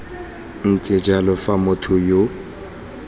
ntse jalo fa motho yo